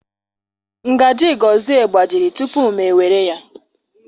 Ngaji gozie gbajiri tupu m ewere ya.